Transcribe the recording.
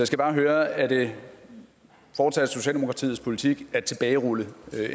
skal bare høre er det fortsat socialdemokratiets politik at tilbagerulle